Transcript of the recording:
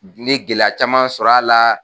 gɛlɛya caman sɔrɔ a la.